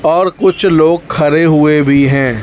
और कुछ लोग खड़े हुए भी हैं।